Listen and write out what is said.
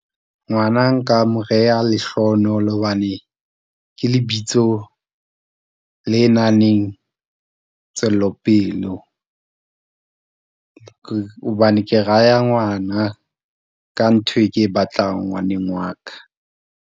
Ngwana nka mo reha Lehlohonolo hobane ke lebitso le nang le tswelopelo , hobane ke raya ngwana ka ntho e ke e batlang ngwaneng wa ka.